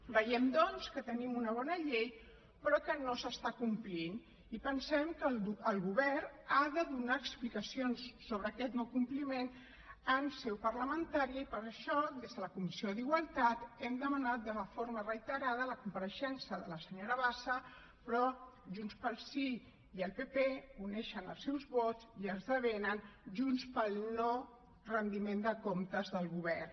veiem doncs que tenim una bona llei però que no s’està complint i pensem que el govern ha de donar explicacions sobre aquest no compliment en seu parlamentària i per això des de la comissió d’igualtat hem demanat de forma reiterada la compareixença de la senyora bassa però junts pel sí i el pp uneixen els seus vots i esdevenen junts pel no retiment de comptes del govern